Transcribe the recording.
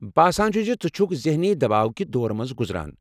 باسان چُھ زِ ژٕ چُھكھ ذہنی دباو كہِ دورٕ منز گُزران۔